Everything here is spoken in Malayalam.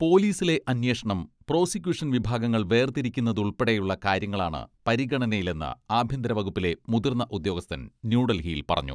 പോലീസിലെ അന്വേഷണം പ്രോസിക്യൂഷൻ വിഭാഗങ്ങൾ വേർതിരിക്കുന്നതുൾപ്പെടെ കാര്യങ്ങളാണ് പരിഗണനയിലെന്ന് ആഭ്യന്തര വകുപ്പിലെ മുതിർന്ന ഉദ്യോഗസ്ഥൻ ന്യൂഡൽഹിയിൽ പറഞ്ഞു.